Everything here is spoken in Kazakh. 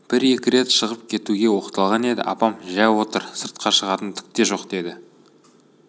бір-екі рет шығып кетуге оқталған еді апам жә отыр сыртқа шығатын түк те жоқ деді